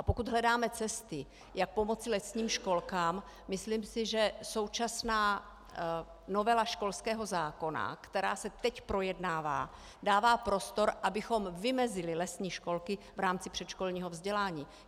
A pokud hledáme cesty, jak pomoci lesním školkám, myslím si, že současná novela školského zákona, která se teď projednává, dává prostor, abychom vymezili lesní školky v rámci předškolního vzdělání.